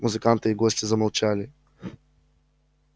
музыканты и гости замолчали